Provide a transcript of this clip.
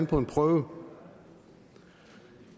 på en prøve